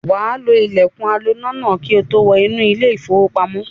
Wà á lo ilẹ̀kùn aloná náà kí ó tó wọ inú ilé-ìfowópamọ́sí.